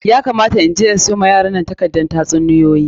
Ya kamata mu je in siyo wa yaran nan takardar tatsuniyoyi.